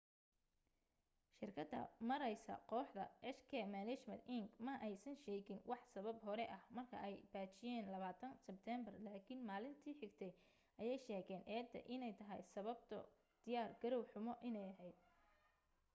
shirkada maareysa kooxda hk management inc ma aysan sheegin wax sabab hore ah marka ay baajiyen 20 sibteembar laakin maalinti xigtay ayee sheegen eeda ine tahay sababo diyaar garow xumo ine aheyd